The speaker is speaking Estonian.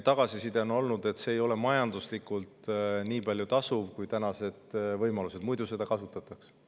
Tagasiside on olnud, et see ei ole majanduslikult nii tasuv kui võimalused, muidu seda kasutataks.